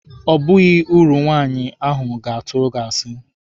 O baghị uru, nwaanyị ahụ ga-atụ asi.